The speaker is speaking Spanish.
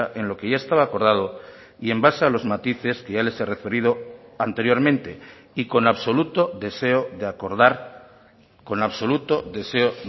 en lo que ya estaba acordado y en base a los matices que ya les he referido anteriormente y con absoluto deseo de acordar con absoluto deseo